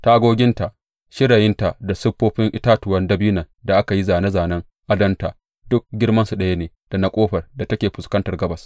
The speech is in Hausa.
Tagoginta, shirayinta da siffofin itatuwan dabinon da aka yi zāne zānen adonta duk girmansu ɗaya ne da na ƙofar da take fuskantar gabas.